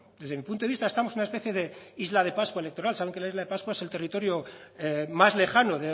desde mi punto de vista estamos en una especie de isla de pascua electoral saben que la isla de pascua es el territorio más lejano